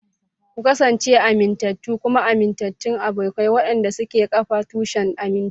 Ku kasance amintattu kuma amintattun abokai waɗanda suke kafa tushen aminci.